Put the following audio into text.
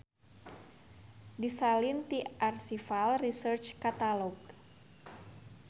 Disalin ti Archival Research Catalog.